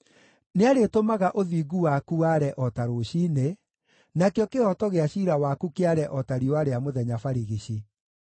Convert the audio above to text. Nĩarĩtũmaga ũthingu waku ware o ta rũciinĩ, nakĩo kĩhooto gĩa ciira waku kĩare o ta riũa rĩa mũthenya barigici.